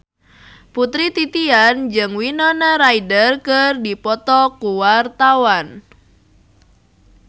Putri Titian jeung Winona Ryder keur dipoto ku wartawan